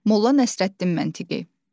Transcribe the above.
Molla Nəsrəddin məntiqi.